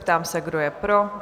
Ptám se, kdo je pro?